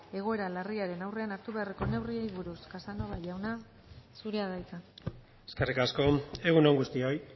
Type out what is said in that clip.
egoera larriaren aurrean hartu beharreko neurriei buruz casanova jauna zurea da hitza eskerrik asko egun on guztioi